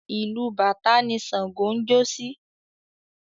Ìlù bàtá ni Ṣàǹgó ń jó sí.